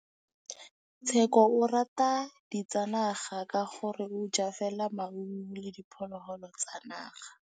Tshekô o rata ditsanaga ka gore o ja fela maungo le diphologolo tsa naga.